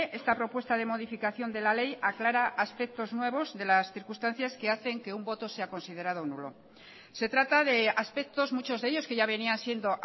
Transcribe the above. esta propuesta de modificación de la ley aclara aspectos nuevos de las circunstancias que hacen que un voto sea considerado nulo se trata de aspectos muchos de ellos que ya venían siendo